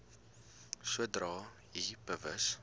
sodra u bewus